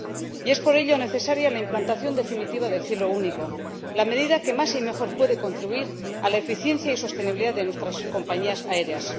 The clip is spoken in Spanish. Y es por ello necesaria la implantación definitiva del cielo único, la medida que más y mejor puede contribuir a la eficiencia y sostenibilidad de nuestras compañías aéreas.